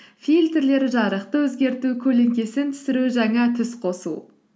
фильтрлер жарықты өзгерту көлеңкесін түсіру жаңа түс қосу